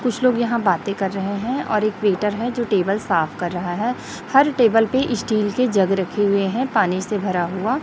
कुछ लोग यहां बातें कर रहे हैं और एक वेटर है जो टेबल साफ कर रहा है हर टेबल पे स्टील के जग रखे हुए हैं पानी से भरा हुआ--